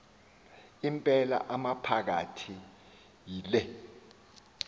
impela amaphakathi yile